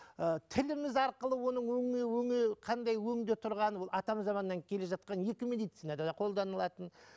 ы тіліміз арқылы оны қандай өңде тұрғаны ол атам заманнан келе жатқан екі медицинада да қолданылатын